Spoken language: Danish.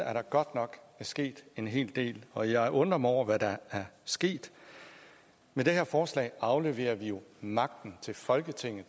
er der godt nok sket en hel del og jeg undrer mig over hvad der er sket med det her forslag afleverer vi jo magten til folketinget